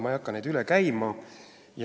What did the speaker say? Ma ei hakka neid üle käima.